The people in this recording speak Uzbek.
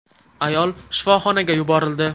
Ayol shifoxonaga yuborildi.